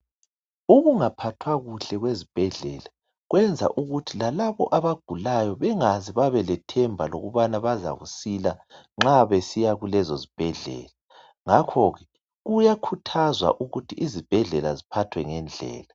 Ukungaphathwa kuhle kwezibhedlela kwenza ukuthi lalabo abagulayo bengaze babalethemba lokubana bazakusila nxa besiya kulezo zibhedlela ngakho ke kuyakhuthazwa ukuthi izibhedlela ziphathwe ngendlela.